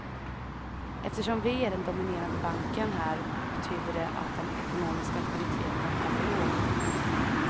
Eftersom vi är den dominerande banken här betyder det att den ekonomiska aktiviteten är för låg.